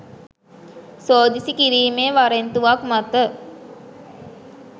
සෝදිසි කිරීමේ වරෙන්තුවක් මත